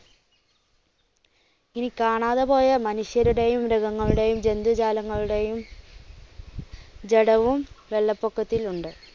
ഇനി കാണാതെ പോയ മനുഷ്യരുടെയും, മൃഗങ്ങളുടെയും, ജന്തു ജാലങ്ങളുടെയും ജഡവും വെള്ളപ്പൊക്കത്തിലുണ്ട്.